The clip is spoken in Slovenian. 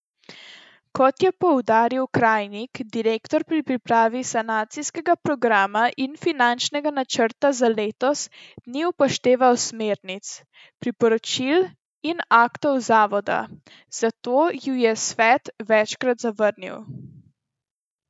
Kot je poudaril Krajnik, direktor pri pripravi sanacijskega programa in finančnega načrta za letos ni upošteval smernic, priporočil in aktov zavoda, zato ju je svet večkrat zavrnil.